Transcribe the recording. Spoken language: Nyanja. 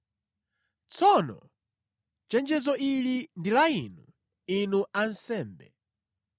“Tsono chenjezo ili ndi la inu, inu ansembe.”